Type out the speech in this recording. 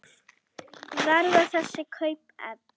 Verða þessi kaup efnd?